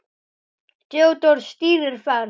Theódór stýrir ferð.